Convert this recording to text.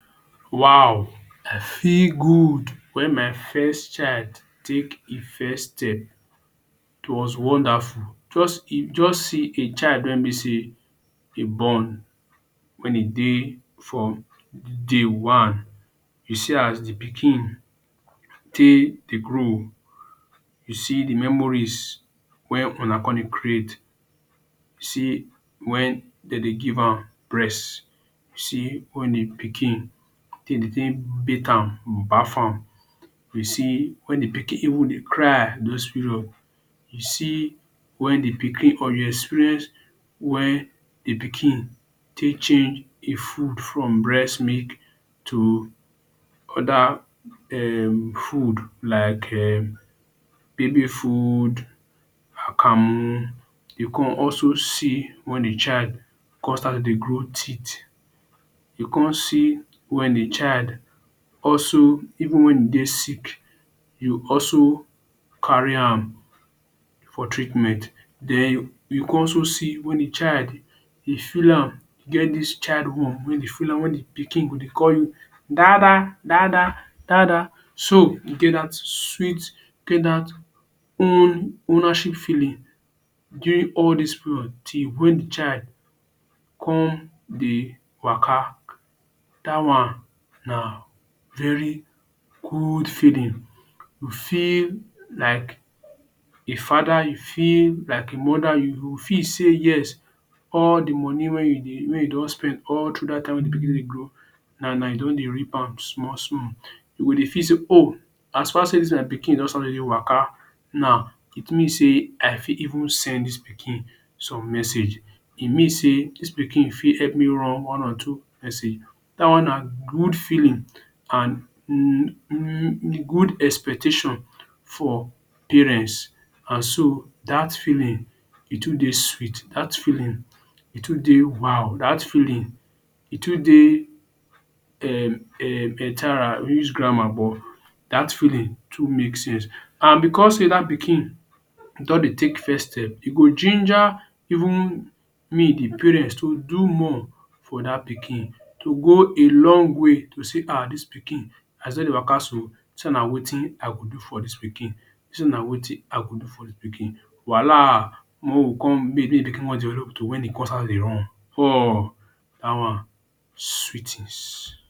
Wow, I feel good wen my first child take e first step, it was wonderful. Just see just see a child wey be sey e born wen e dey from day one. You see as de pikin take dey grow. You see de memories wey una come dey create. You see wen dem dey give am breast. You see wen de pikin dey dey take bath am, baff am. You see wen de pikin even dey cry, those period. You see wen de pikin or you experience wen de pikin take change e food from breastmilk to other um food like um baby food,. You come also see wen de child come start to dey grow teeth. You come see wen de child also even wen e dey sick you also carry am for treatment. Den you con also see wen de child e feel am get dis You feel am wen de pikin go dey call you dada, dada, dada. So e get dat sweet e get dat own ownership feeling during all dis period till wen de child come dey waka. Dat one na very good feeling, you feel like a father, you feel like a mother. You go feel sey yes, all de money wey you dey wey you don spend, all through dat time wey pikin dey grow, now you don dey reap am small small. You go dey feel sey oh, as far as sey dis my pikin don start to dey waka now, it mean sey I fit even send dis pikin some message. E mean sey dis pikin fit help me run one or two message. Dat one na good feeling and good expectation for parents. And so dat feeling e too dey sweet. Dat feeling, e too dey wow. Dat feeling e too dey um um grammar but dat feeling too make sense and because sey dat pikin don dey take first step, e go ginger even me de parents to do more for dat pikin. To go a long way to say, aah, dis pikin as e dey waka so, so na wetin I go do for dis pikin, so na wetin I go do for dis pikin?. Wahala when e con start to dey dey run um. Dat one sweet things.